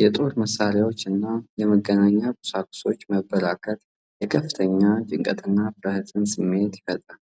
የጦር መሳሪያዎችና የመገናኛ ቁሳቁሶች መበራከት የከፍተኛ ጭንቀትና ፍርሃት ስሜትን ይፈጥራል።